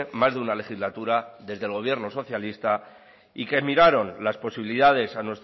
más de una legislatura desde el gobierno socialista y que miraron las posibilidades a